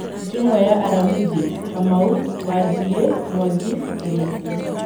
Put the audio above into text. Njũng'wa ya Aramithi: Kamau, Wanjigi, Mwangi, Kariuki